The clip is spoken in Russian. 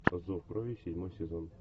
зов крови седьмой сезон